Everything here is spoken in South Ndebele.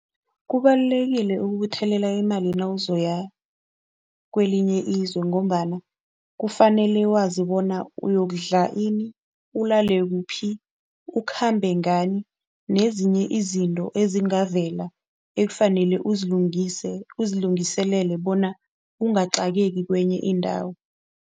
Kubalulekile ukubuthelela imali nawozoya kwelinye izwe ngombana kufanele wazi bona uyokudlala ini, ulale kuphi, ukhambe ngani nezinye izinto ezingavele ekufanele uzilungise, uzilungiselele bona ungacakeki kwenye indawo.